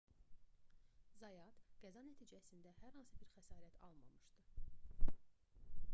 zayat qəza nəticəsində hər hansı bir xəsarət almamışdı